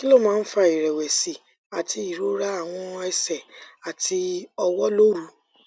kí ló máa ń fa ìrẹwẹsì àti irora àwọn ẹsẹ àti ọwọ lóru